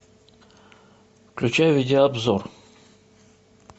включай видеообзор